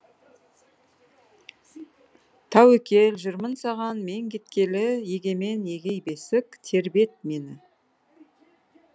тәуекел жүрмін саған мен кеткелі егемен егей бесік тербет мені